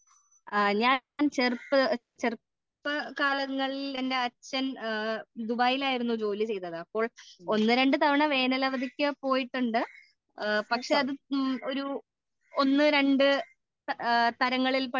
ഞാൻ ചെറുപ്പ ചെറുപ്പ കാലങ്ങളിൽ എന്റെ അച്ഛൻ ദുബായിൽ ആയിരുന്നു ജോലി ചെയ്തത് അപ്പോൾ ഒന്ന്, രണ്ട് തവണ വേനൽ അവധിക്ക് പോയിട്ടുണ്ട് പക്ഷേ അതും ഒരു ഒന്ന്, രണ്ട് താരങ്ങളിൽ